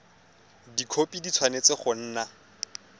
dikhopi di tshwanetse go nna